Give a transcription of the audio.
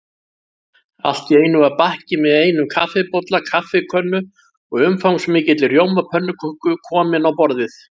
Allt í einu var bakki með einum kaffibolla, kaffikönnu og umfangsmikilli rjómapönnuköku kominn á borðið.